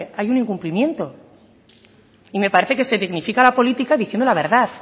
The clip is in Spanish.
hay un incumplimiento y me parece que se dignifica la política diciendo la verdad